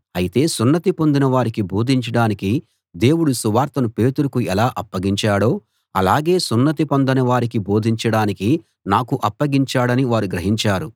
అయితే సున్నతి పొందిన వారికి బోధించడానికి దేవుడు సువార్తను పేతురుకు ఎలా అప్పగించాడో అలాగే సున్నతి పొందని వారికి బోధించడానికి నాకు అప్పగించాడని వారు గ్రహించారు